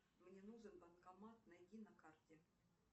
мне нужен банкомат найди на карте